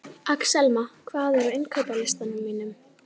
Axelma, hvað er á innkaupalistanum mínum?